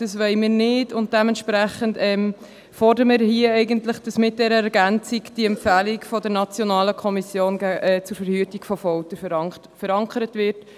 Das wollen wir nicht, und dementsprechend fordern wir hier eigentlich, dass mit dieser Ergänzung die Empfehlung der NKVF verankert wird.